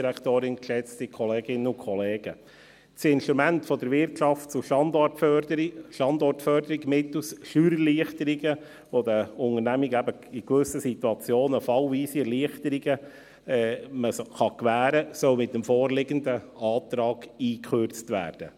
Das Instrument der Wirtschafts- und Standortförderung mittels Steuererleichterungen, durch die den Unternehmen eben in gewissen Situationen fallweise Erleichterungen gewährt werden können, soll mit dem vorliegenden Antrag gekürzt werden.